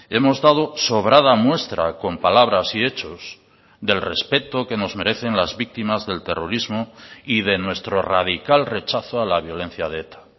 hemos dado sobrada muestra con palabras y hechos del respeto que nos merecen las víctimas del terrorismo y de nuestro radical rechazo a la violencia de eta